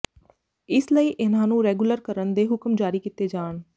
ਇਸ ਲਈ ਇਨ੍ਹਾਂ ਨੂੰ ਰੈਗੁਲਰ ਕਰਨ ਦੇ ਹੁਕਮ ਜਾਰੀ ਕੀਤੇ ਜਾਣ